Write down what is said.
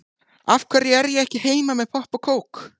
Af hverju er ég ekki heima með popp og kók?